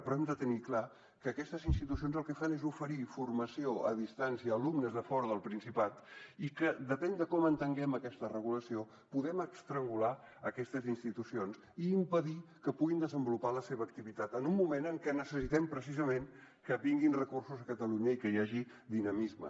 però hem de tenir clar que aquestes institucions el que fan és oferir formació a distància a alumnes de fora del principat i que depèn de com entenguem aquesta regulació podem estrangular aquestes institucions i impedir que puguin desenvolupar la seva activitat en un moment en què necessitem precisament que vinguin recursos a catalunya i que hi hagi dinamisme